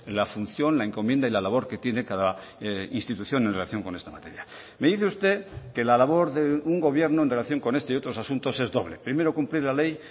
la función la encomienda y la labor que tiene cada institución en relación con esta materia me dice usted que la labor de un gobierno en relación con este y otros asuntos es doble primero cumplir la ley